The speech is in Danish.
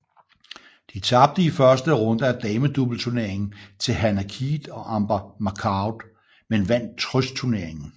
De tabte i første runde af damedobleturneringen til Hannah Keith og Amber McCord men vandt trøstturneringen